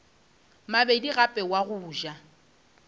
mabedi gape wa go ja